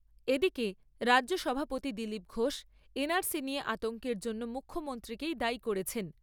এদিকে, রাজ্য সভাপতি দিলীপ ঘোষ, নিয়ে আতঙ্কের জন্য মুখ্যমন্ত্রীকেই দায়ী করেছেন।